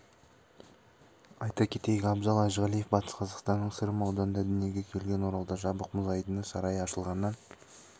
айта кетейік абзал әжіғалиев батыс қазақстанның сырым ауданында дүниеге келген оралда жабық мұз айдыны сарайы ашылғаннан